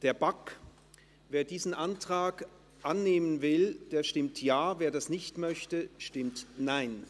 der BaK. Wer diesen Antrag annehmen will, stimmt Ja, wer diesen ablehnt, stimmt Nein.